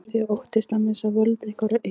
Þið óttist að missa völd ykkar og eignir.